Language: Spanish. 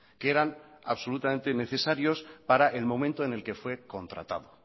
que eran absolutamente necesarios para el momento en el que fue contratado